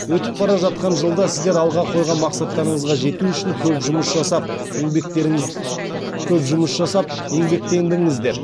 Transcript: өтіп бара жатқан жылда сіздер алға қойған мақсаттарыңызға жету үшін көп жұмыс жасап еңбектеңдіңіздер